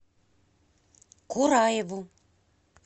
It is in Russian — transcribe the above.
кураеву